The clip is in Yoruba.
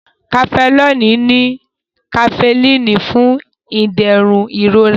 Cafenol ní kafíìnì fún ìdẹ̀rùn ìrora.